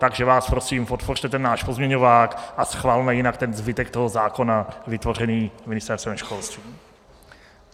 Takže vás prosím, podpořte ten náš pozměňovák a schvalme jinak ten zbytek toho zákona vytvořený Ministerstvem školství.